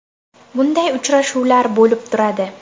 Bunday uchrashuvlar bo‘lib turadi.